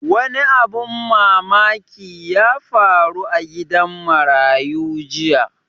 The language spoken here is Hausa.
Wani abun mamaki ya faru a gidan marayu jiya